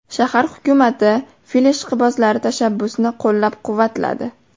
Shahar hukumati fil ishqibozlari tashabbusini qo‘llab-quvvatladi.